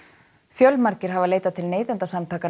fjölmargir hafa leitað til Neytendasamtakanna